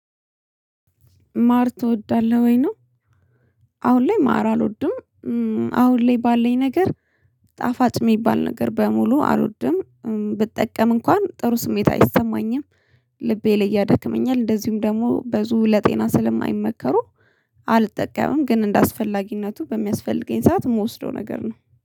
ማር ትወዳለህ ወይ ነው አሁን ላይ ማር አልወድም። አሁን ላይ ባለኝ ነገር ጣፋጭ የሚባል ነገር በሙሉ አልወድም ብጠቀም እንኳን ጥሩ ስሜት አይሰማኝም፤ ልቤ ላይ እያደክመኛል፤ እንደዚሁም ደግሞ ብዙ ለጤና ስለማይመከሩ አልጠቀምም ግን እንደአስፈላጊነቱ በሚያስፈልገኝ ሰዓት የምወስደው ነገር ነው።